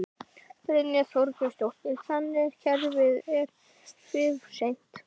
Oddný gaf krakkaskaranum kleinur og mjólk í eldhúsinu.